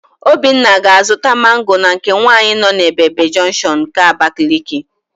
Obinna ga-azụta mango na nke nwaanyị nọ n'Ebebe junction nke Abakaliki.